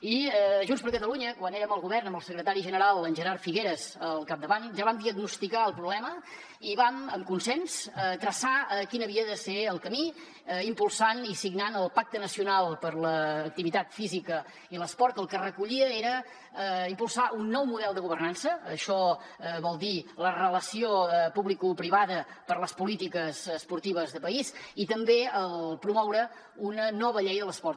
i junts per catalunya quan érem al govern amb el secretari general en gerard figueras al capdavant ja vam diagnosticar el problema i vam amb consens traçar quin havia de ser el camí impulsant i signant el pacte nacional per a l’activitat física i l’esport que el que recollia era impulsar un nou model de governança això vol dir la relació publicoprivada per a les polítiques esportives de país i també promoure una nova llei de l’esport